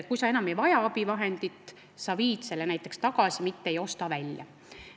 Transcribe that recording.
Kui sa enam abivahendit ei vaja, siis sa viid selle näiteks tagasi, sa ei pea seda välja ostma.